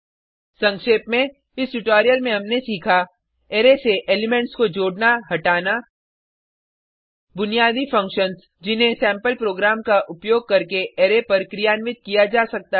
संक्षेप में इस ट्यूटोरियल में हमनें सीखा अरै से एलिमेंट्स को जोडनाहटाना बुनियादि फंक्शन्स जिन्हें सेम्पल प्रोग्राम का उपयोग करके अरै पर क्रियान्वित किया जा सकता है